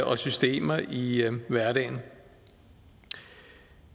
og systemer i hverdagen